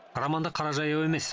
роман да қара жаяу емес